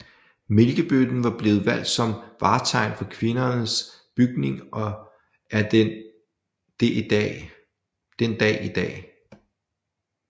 Mælkebøtten var blevet valgt som vartegn for Kvindernes Bygning og er det den dag i dag